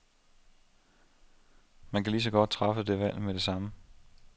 Man kan ligeså godt træffe det valg med det samme.